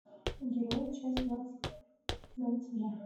герои часть двадцать двадцать два